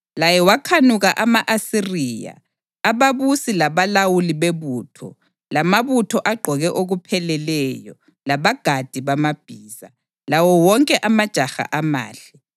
Laye wakhanuka ama-Asiriya, ababusi labalawuli bebutho, lamabutho agqoke okupheleleyo, labagadi bamabhiza, lawo wonke amajaha amahle.